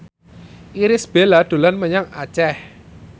Irish Bella dolan menyang Aceh